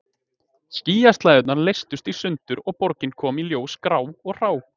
Skýjaslæðurnar leystust í sundur og borgin kom í ljós grá og hrá.